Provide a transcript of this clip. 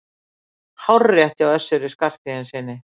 Hárrétt hjá Össuri Skarphéðinssyni!